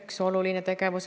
Äkki on seda raha liiga vähe?